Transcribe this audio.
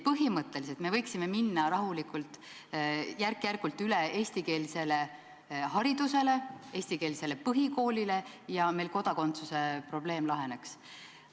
Nii et me võiksime rahulikult minna järk-järgult üle eestikeelsele haridusele, eestikeelsele põhikoolile, ja kodakondsuse probleem laheneks.